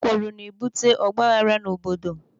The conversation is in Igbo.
Ekworo na-ebute ọgbaaghara n'obodo.